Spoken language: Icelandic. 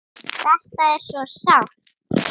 Þetta er svo sárt.